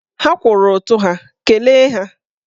Ha kwụrụ ụtụ ha, kelee ha!